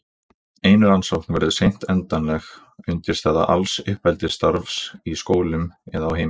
ein rannsókn verður seint endanleg undirstaða alls uppeldisstarfs í skólum eða á heimilum